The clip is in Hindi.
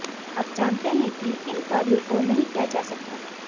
अब जानते हैं कि किन कार्यों को नहीं किया जा सकता